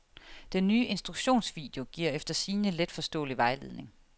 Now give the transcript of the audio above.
Den ny instruktionsvideo giver efter sigende let forståelig vejledning.